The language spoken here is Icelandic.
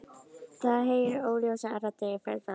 Þau heyra óljósar raddir í fjarska.